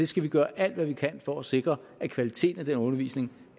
skal gøre alt hvad vi kan for at sikre at kvaliteten af den undervisning